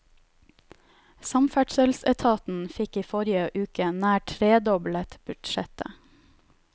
Samferdselsetaten fikk i forrige uke nær tredoblet budsjettet.